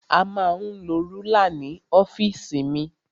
A ma ń lo rúlà ní ọ́fìsì mi.